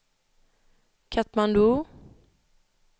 Katmandu